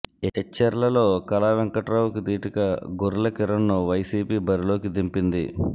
ఎచ్చెర్లలో కళా వెంకట్రావుకి దీటుగా గొర్లె కిరణ్ను వైసీపీ బరిలోకి దింపింది